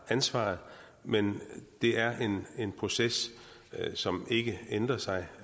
ansvaret men det er en proces som ikke ændrer sig